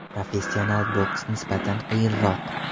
Professional boks nisbatan qiyinroq.